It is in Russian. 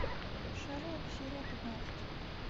шерлок серия пятнадцать